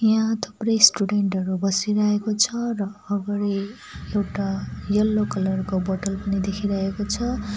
यहाँ थुप्रै स्टुडेन्ट हरू बसिरहेको छ र अगाडि एउटा यल्लो कलर को बोटल पनि देखिरहेको छ।